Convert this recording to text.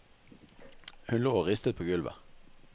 Hun lå og ristet på gulvet.